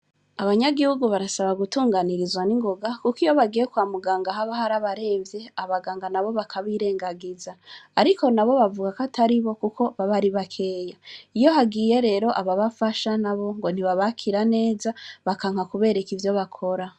Abanyagihugu barasaba gutunganirizwa n'ingoga kuko iyo bagiye kwa muganga haba hari abaremvye, abaganga nabo bakabirengagiza. Ariko nabo bavuga ko ataribo kuko baba ari bakeya. Iyo hagiye rero ababafasha nabo ngo ntibabakira neza, bakanka kubereka ivyo bakora.